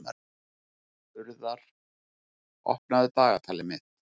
Urðar, opnaðu dagatalið mitt.